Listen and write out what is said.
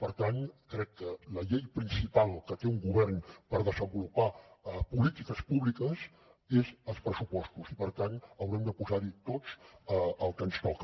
per tant crec que la llei principal que té un govern per desenvolupar polítiques públiques és els pressupostos i per tant haurem de posar hi tots el que ens toca